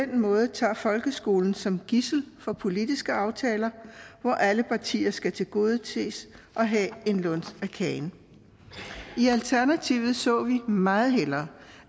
den måde tager folkeskolen som gidsel for politiske aftaler hvor alle partier skal tilgodeses og have en luns af kagen i alternativet så vi meget hellere